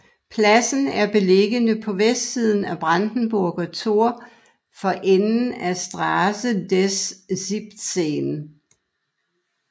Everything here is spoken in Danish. Pladsen er beliggende på vestsiden af Brandenburger Tor for enden af Straße des 17